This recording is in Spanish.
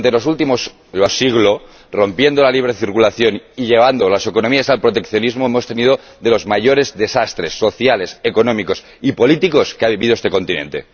Y durante el último siglo, impidiendo la libre circulación y llevando las economías al proteccionismo, hemos asistido a los mayores desastres sociales, económicos y políticos que ha vivido este continente.